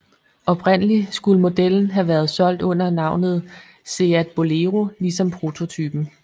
Oprindeligt skulle modellen have været solgt under navnet SEAT Bolero ligesom prototypen